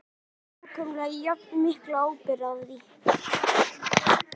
Við berum nákvæmlega jafn mikla ábyrgð á því.